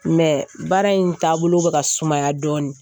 baara in taabolo bɛ ka sumaya dɔɔnin